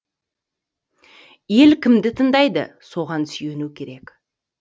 ел кімді тыңдайды соған сүйену керек